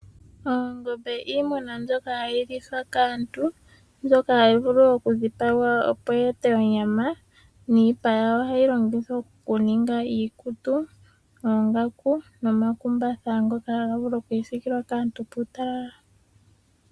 Oongombe iinamwenyo mbyoka hayi lithwa kaantu, mbyoka hayi vulu okudhipagwa opo yi ete onyama, niipa yayo ohayi longithwa okuninga iikutu, oongaku, nomakumbatha ngoka haga vulu okwiisilkilwa kaantu puutalala.